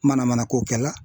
Manamanako kɛla